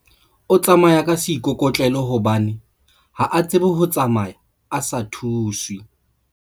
O tsamaya ka seikokotlelo hobane ha a tsebe ho tsamaya a sa thuswe.